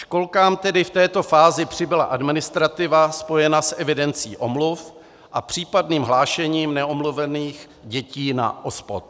Školkám tedy v této fázi přibyla administrativa spojená s evidencí omluv a případným hlášením neomluvených dětí na OSPOD.